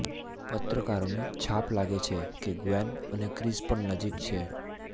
પત્રકારોને છાપ લાગે છે કે ગ્વેન અને ક્રિસ પણ નજીક છે